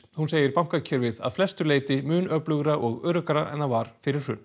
hún segir bankakerfið að flestu leyti mun öflugra og öruggara en það var fyrir hrun